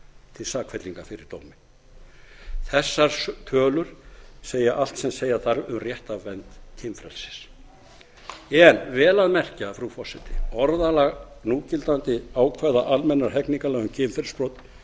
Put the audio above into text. til sakfellinga fyrir dómi þessar tölur segja allt sem segja þarf um réttarvernd kynfrelsis en vel að merkja frú forseti orðalag núgildandi ákvæða almennra hegningarlaga um kynferðisbrot